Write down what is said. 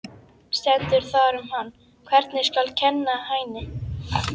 Stendur þar um hann: Hvernig skal kenna Hæni?